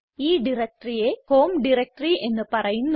ഈ diectoryയെ home directory എന്ന് പറയുന്നു